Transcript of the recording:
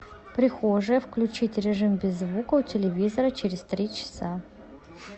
прихожая включить режим без звука у телевизора через три часа